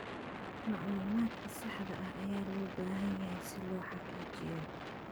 Macluumaadka saxda ah ayaa loo baahan yahay si loo xaqiijiyo